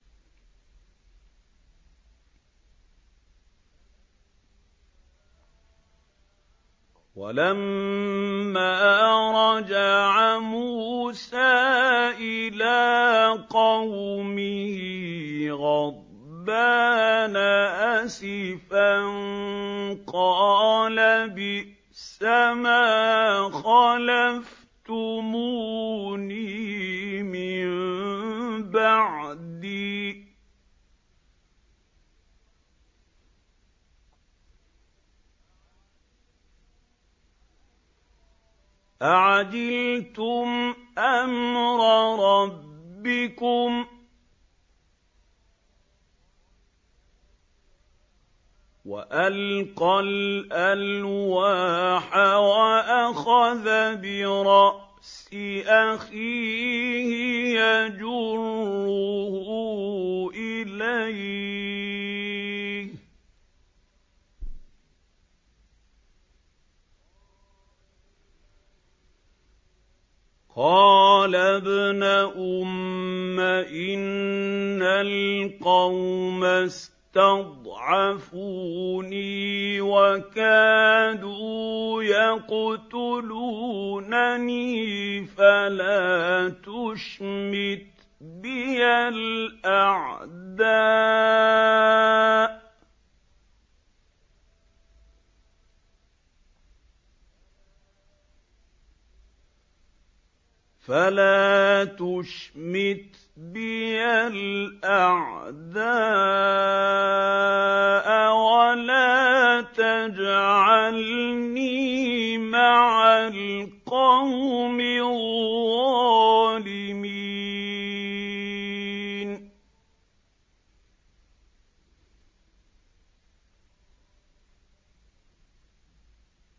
وَلَمَّا رَجَعَ مُوسَىٰ إِلَىٰ قَوْمِهِ غَضْبَانَ أَسِفًا قَالَ بِئْسَمَا خَلَفْتُمُونِي مِن بَعْدِي ۖ أَعَجِلْتُمْ أَمْرَ رَبِّكُمْ ۖ وَأَلْقَى الْأَلْوَاحَ وَأَخَذَ بِرَأْسِ أَخِيهِ يَجُرُّهُ إِلَيْهِ ۚ قَالَ ابْنَ أُمَّ إِنَّ الْقَوْمَ اسْتَضْعَفُونِي وَكَادُوا يَقْتُلُونَنِي فَلَا تُشْمِتْ بِيَ الْأَعْدَاءَ وَلَا تَجْعَلْنِي مَعَ الْقَوْمِ الظَّالِمِينَ